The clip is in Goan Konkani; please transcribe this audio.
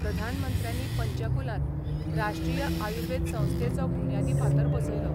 प्रधानमंत्र्यांनी पंचकुलांत राष्ट्रीय आयुर्वेद संस्थेचो बुन्यादी फातर बसयलो.